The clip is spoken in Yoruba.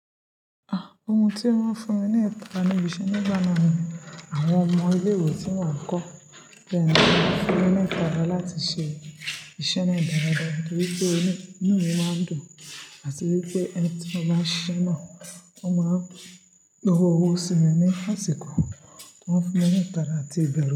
Ah! Ohun tí o máa ń fún mi ní ẹ̀tà ni ìbisẹ nígbà náà ni àwọn ọmọ ilé ìwé tí mò ń kọ́, bí ẹni tí wọ́n bá fún ní ẹ̀tà dá láti ṣe iṣẹ́ náà dáradára nítorí pé inú mi máa ń dùn àti wípé ẹni tí mo bá ṣe náà, ó máa san owó sí mi ní àsìkò tí wọ́n bá fún mí ní ẹ̀tà láti bẹ̀rẹ̀.